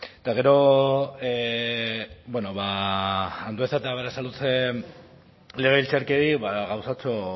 eta gero bueno andueza eta berasaluze legebiltzarkideei gauzatxo